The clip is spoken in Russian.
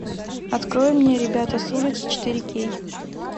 открой мне ребята с улицы четыре кей